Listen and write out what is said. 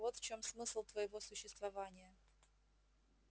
вот в чем смысл твоего существования